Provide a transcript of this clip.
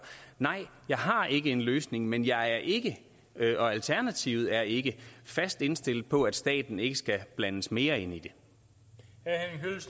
nej jeg har ikke en løsning men jeg er ikke og alternativet er ikke fast indstillet på at staten ikke skal blandes mere ind i